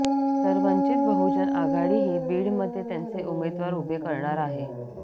तर वंचित बहुजन आघाडीही बीडमध्ये त्यांचे उमेदवार उभे करणार आहे